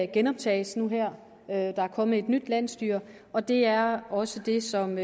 genoptages nu der er kommet et nyt landsstyre og det er også det som